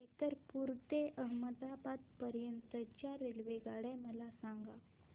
गैरतपुर ते अहमदाबाद पर्यंत च्या रेल्वेगाड्या मला सांगा